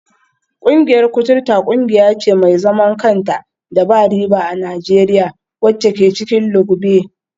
Kungiyar kuturta kungiya ce mai zaman kanta da ba riba a Najeriya, wacce ke cikin lugbe.